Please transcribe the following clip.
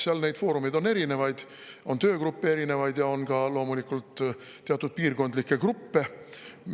Seal on neid foorumeid erinevaid, on töögruppe ja loomulikult on ka teatud piirkondlikke gruppe.